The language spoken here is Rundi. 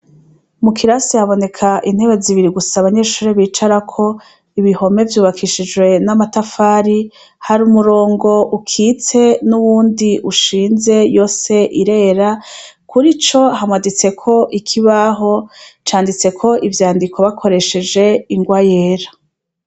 Mu kirasi haboneka intebe zibiri gusa abanyeshure bicarako, ibihome vyubakishijwe n' amatafari, hari umurongo ukitse n' uwundi ishinze yose irera, kurico hamaditsweko ikibaho canditseko ivyandiko bakoresheje ingwa yera.